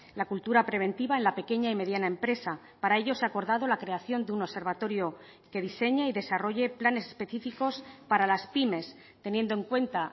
la cultura preventiva en la pequeña y mediana empresa para ello se ha acordado la creación de un observatorio que diseñe y desarrolle planes específicos para las pymes teniendo en cuenta